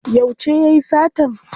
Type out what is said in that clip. Yauce yayi satan?